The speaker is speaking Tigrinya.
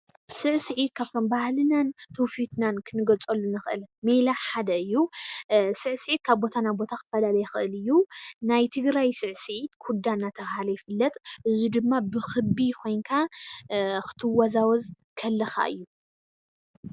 ስዕስዒት ካብቶም ባህልናን ትዉፊትናን ክንገልፀሎም ንኽእል ሜላ ሓደ እዩ:: ስዕስዒት ካብ ቦታ ናብ ቦታ ክፈላለ ይኽእል እዩ:: ናይ ትግራይ ስዕስዒት ኩዳ እናተብሃለ ይፍለጥ እዚ ድማ ብክቢ ኮይንካ ክትወዛወዝ ከለኻ እዩ።